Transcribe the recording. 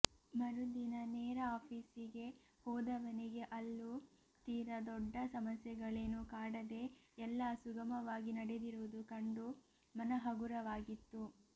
ಮರುದಿನ ನೇರ ಆಫೀಸಿಗೆ ಹೋದವನಿಗೆ ಅಲ್ಲೂ ತೀರಾ ದೊಡ್ಡ ಸಮಸ್ಯೆಗಳೇನೂ ಕಾಡದೆ ಎಲ್ಲಾ ಸುಗಮವಾಗಿ ನಡೆದಿರುವುದು ಕಂಡು ಮನ ಹಗುರವಾಗಿತ್ತು